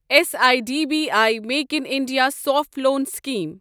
S I D B I make in India soft loan scheme